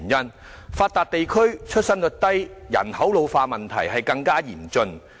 我們屬發達地區，出生率低及人口老化的問題尤為嚴峻。